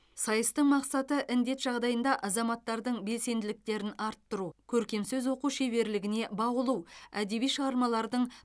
сайыстың мақсаты індет жағдайында азаматтардың белсенділіктерін арттыру көркем сөз оқу шеберлігіне баулу әдеби шығармалардың